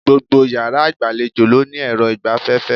Gbogbo yàrá ìgbàlejò ló ní èrọ ìgbaféfé